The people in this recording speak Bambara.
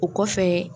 O kɔfɛ